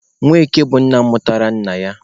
Nweke bụ nna mụtara nna ya.